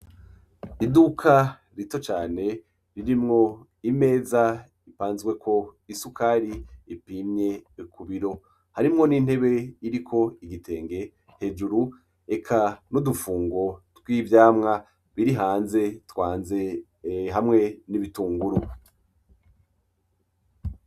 Iduka rito cane ririmwo imeza ipazweko isukari ipimye kubiro, harimwo n'intebe iriko igitenge hejuru eka n'udufungo tw'ivyamwa biri hanze twanze hamwe n'ibitunguru .